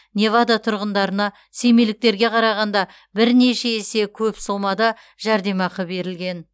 невада тұрғындарына семейліктерге қарағанда бірнеше есе көп сомада жәрдемақы берілген